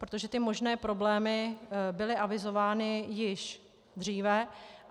Protože ty možné problémy byly avizovány již dříve.